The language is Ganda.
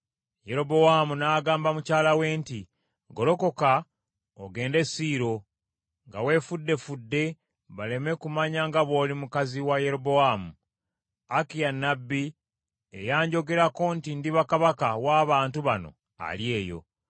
Yerobowaamu n’agamba mukyala we nti, “Golokoka ogende e Siiro, nga weefuddefudde baleme kumanya nga bw’oli mukazi wa Yerobowaamu. Akiya nnabbi, eyanjogerako nti ndiba kabaka w’abantu bano ali eyo.